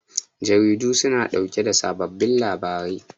Jaridu su na ɗauke da sababbin labarai